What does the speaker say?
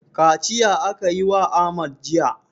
Kaciya aka yi wa Ahmad jiya.